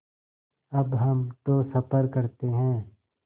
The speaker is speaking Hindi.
अब हम तो सफ़र करते हैं